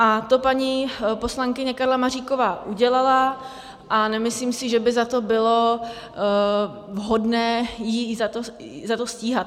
A to paní poslankyně Karla Maříková udělala a nemyslím si, že by za to bylo vhodné ji za to stíhat.